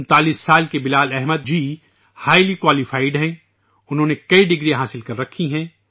39 سالہ بلال احمد جی بہت ہی تعلیم یافتہ ہیں ، انہوں نے کئی ڈگریاں حاصل کی ہیں